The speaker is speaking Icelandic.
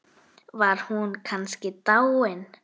Var hún kannski dáin?